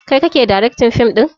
Kai kake daraktin ɗin fim ɗin?